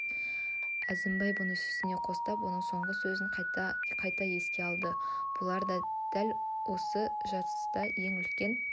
әзімбай бұны сүйсіне қостап оның соңғы сөзін қайта-қайта еске алды бұлар дәл осы жатыста ең үлкен